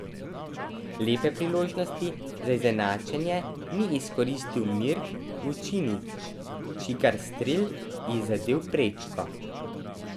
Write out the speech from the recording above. Lepe priložnosti za izenačnje ni izkoristil Mirk Vučinić, čigar strel je zadel prečko.